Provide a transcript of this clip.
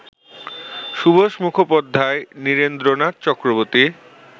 Subhash Mukhopadhyay, Nirendranath Chakraborty